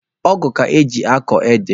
Ọgụ ka eji akọ ede.